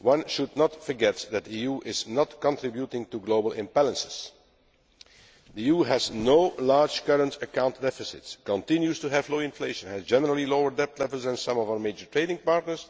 One should not forget that the EU is not contributing to global imbalances the EU has no large current account deficits, continues to have low inflation and has generally lower debt levels than some of our major trading partners,